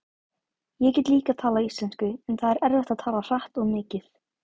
Ég get líka talað íslensku en það er erfitt að tala hratt og mikið.